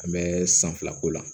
An bɛ san fila k'o la